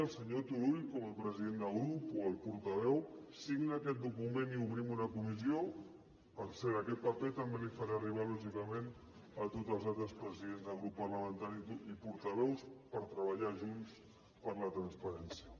el senyor turull com a president de grup o el portaveu signa aquest document i obrim una comissió per cert aquest paper també el faré arribar lògicament a tots els altres presidents de grup parlamentari i portaveus per treballar junts per la transparència